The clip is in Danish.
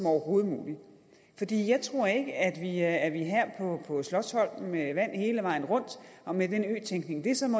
overhovedet mulig jeg tror ikke at man her på slotsholmen med vand hele vejen rundt og med den øtænkning som